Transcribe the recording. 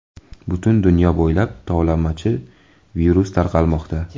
Butun dunyo bo‘ylab tovlamachi-virus tarqalmoqda.